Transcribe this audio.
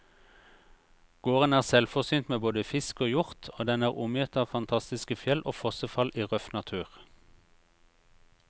Gården er selvforsynt med både fisk og hjort, og den er omgitt av fantastiske fjell og fossefall i røff natur.